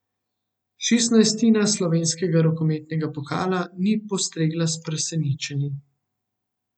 Šestnajstina slovenskega rokometnega pokala ni postregla s presenečenji.